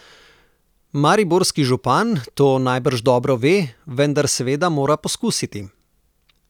Mariborski župan to najbrž dobro ve, vendar seveda mora poskusiti.